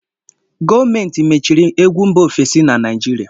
Gọọmentị machiri egwu mba ofesi na Naịjirịa.